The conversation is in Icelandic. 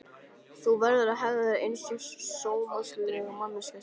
Þú verður að hegða þér einsog sómasamleg manneskja stelpa.